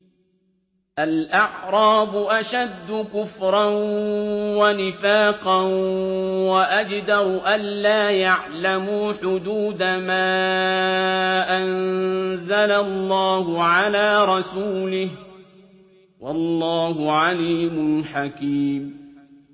الْأَعْرَابُ أَشَدُّ كُفْرًا وَنِفَاقًا وَأَجْدَرُ أَلَّا يَعْلَمُوا حُدُودَ مَا أَنزَلَ اللَّهُ عَلَىٰ رَسُولِهِ ۗ وَاللَّهُ عَلِيمٌ حَكِيمٌ